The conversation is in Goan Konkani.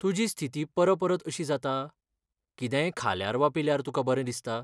तुजी स्थिती परपरत अशी जाता? कितेंय खाल्यार वा पिल्यार तुका बरें दिसता?